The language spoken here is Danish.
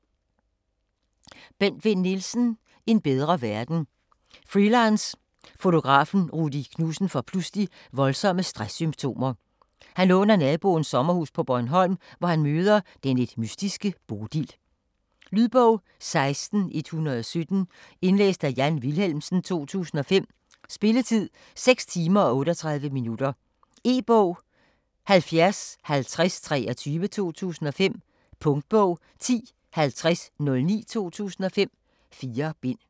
Vinn Nielsen, Bent: En bedre verden Freelance fotografen Rudy Knudsen får pludselig voldsomme stress-symptomer. Han låner naboens sommerhus på Bornholm, hvor han møder den lidt mystiske Bodil. Lydbog 16117 Indlæst af Jan Wilhelmsen, 2005. Spilletid: 6 timer, 38 minutter. E-bog 705023 2005. Punktbog 105009 2005. 4 bind.